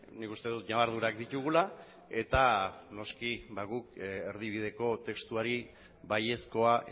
nik uste dut ñabardurak ditugula eta noski guk erdibideko testuari baiezkoa